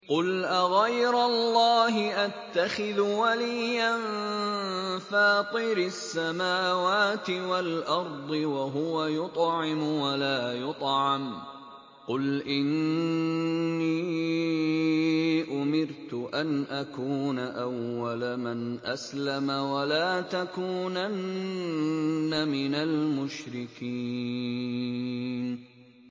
قُلْ أَغَيْرَ اللَّهِ أَتَّخِذُ وَلِيًّا فَاطِرِ السَّمَاوَاتِ وَالْأَرْضِ وَهُوَ يُطْعِمُ وَلَا يُطْعَمُ ۗ قُلْ إِنِّي أُمِرْتُ أَنْ أَكُونَ أَوَّلَ مَنْ أَسْلَمَ ۖ وَلَا تَكُونَنَّ مِنَ الْمُشْرِكِينَ